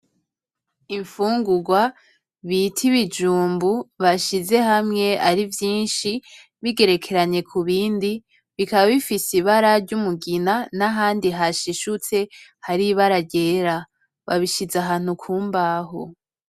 Infungurwa bita ibijumbu bashize hamwe arivyinshi bigerekeranye kubindi bikaba bifise ibara ryumugina nahandi hashishutse haribara ryera, babishize ahantu kumbaho.